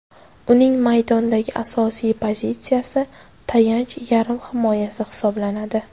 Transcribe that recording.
Uning maydondagi asosiy pozitsiyasi tayanch yarim himoyasi hisoblanadi.